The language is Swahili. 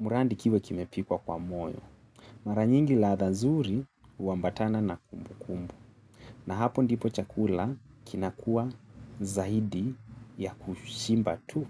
murandi kiwe kimepikwa kwa moyo. Mara nyingi ladha nzuri huambatana na kumbukumbu. Na hapo ndipo chakula kinakuwa zaidi ya kushimba tu.